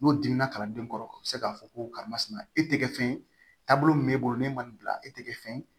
N'o dimina kalanden kɔrɔ o bɛ se k'a fɔ ko karimasina e tɛ kɛ fɛn ye taabolo min b'e bolo n'e ma nin bila e tɛ kɛ fɛn ye